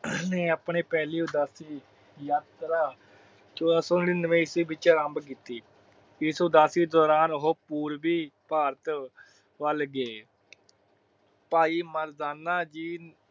ਉਹਨੇ ਆਪਣੇ ਪਹਿਲੀ ਉਦਾਸੀ ਯਾਤਰਾ ਚੋਦਾ ਸੋ ਨੜੀਨਵੇਂ ਈਸਵੀ ਵਿਚ ਆਰੰਬ ਕੀਤੀ ਇਸ ਉਦਾਸੀ ਦੌਰਾਨ ਓਹੋ ਪੂਰਵੀ ਭਾਰਤ ਵਲ ਗਏ ਭਾਈ ਮਰਦਾਨਾ ਜੀ।